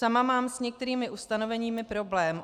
Sama mám s některými ustanoveními problém.